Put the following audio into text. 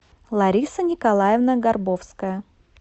лариса николаевна горбовская